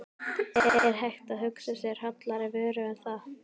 Er hægt að hugsa sér hollari vöru en það?